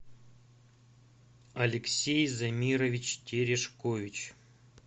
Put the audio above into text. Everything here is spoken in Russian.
алексей замирович терешкович